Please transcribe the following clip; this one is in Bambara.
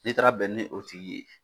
N'i taara bɛn ni o tigi ye,